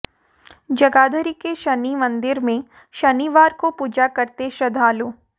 जगाधरी के शनि मंदिर में शनिवार को पूजा करते श्रद्धालु